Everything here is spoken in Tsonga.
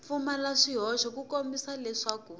pfumala swihoxo ku kombisa leswaku